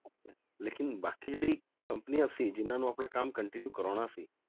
ਲੇਕਿੰਨ ਬਾਕੀ ਜਿਹੜੀ ਕੰਪਨੀਆਂ ਸੀ ਜਿਹਨਾਂ ਨੂੰ ਆਪਣਾ ਕੰਮ continue ਕਰਵਾਉਣਾ ਸੀ,